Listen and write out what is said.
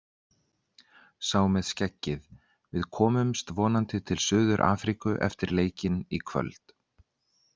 Sá með skeggið: Við komumst vonandi til Suður Afríku eftir leikinn í kvöld.